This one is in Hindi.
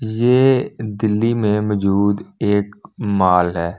ये दिल्ली में मौजूद एक माल है।